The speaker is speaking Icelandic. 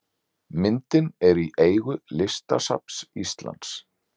Myndin er í eigu Listasafns Íslands.